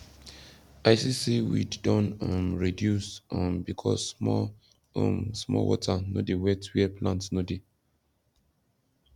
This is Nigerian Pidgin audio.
i see say weed don um reduce um because small um small water no dey wet where plant no dey